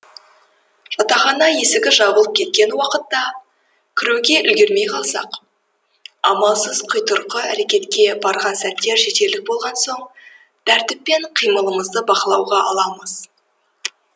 жатахана есігі жабылып кеткен уақытта кіруге үлгермей қалсақ амалсыз құйтырқы әрекетке барған сәттер жетерлік болған соң тәртіппен қимылымызды бақылауға аламыз